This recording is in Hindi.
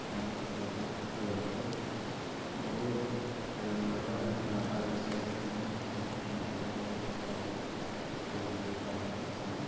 यहाँ पर काफी खूबसूरत है बहोत बड़ा नाला है नाला जैसे है वहाँ नीचे में मे बहुत काफी खू- खूबसूरत दिख रहा है सीन --